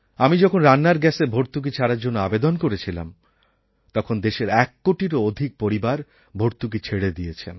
আমি যখন রান্নার গ্যাসের ভর্তুকি ছাড়ার জন্য আবেদন করেছিলাম তখন দেশের এককোটিরও অধিক পরিবার ভর্তুকি ছেড়ে দিয়েছেন